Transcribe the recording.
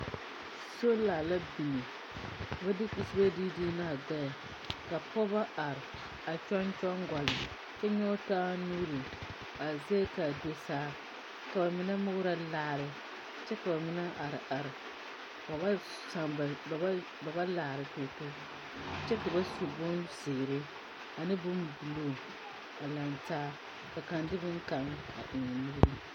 Sola la biŋ, ka ba de kusibe dii dii ne a gbԑԑ, ka pͻgͻ are a kyoŋ kyoŋ gͻlle, kyԑ nyͻge taa nuuri a zeŋԑ ka a da saa, ka ba mine morͻ laare kyԑ ka ba mine are are. Ba ba saa ba, ba ba laara togitogi, kyԑ ka ba su bonzeere ane bombuluu a lantaa. Ka kaŋa de boŋkaŋa a eŋ o nuuriŋ.